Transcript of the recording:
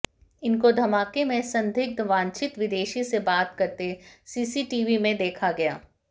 इनको धमाके में संदिग्ध वांछित विदेशी से बात करते सीसीटीवी में देखा गया